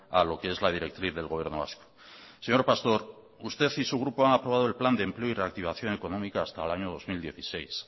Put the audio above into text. a lo que es la directriz del gobierno vasco señor pastor usted y su grupo han aprobado el plan de empleo y reactivación económica hasta el año dos mil dieciséis